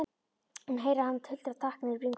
Hún heyrir að hann tuldrar takk niður í bringuna.